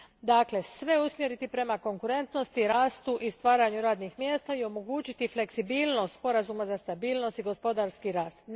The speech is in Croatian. Dakle, sve usmjeriti prema konkurentnosti, rastu i stvaranju radnih mjesta i omogućiti fleksibilnost Sporazuma za stabilnost i gospodarski rast.